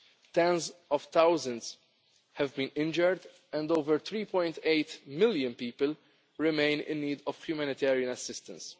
died. Tens of thousands have been injured and over 3.8 million people remain in need of humanitarian assistance.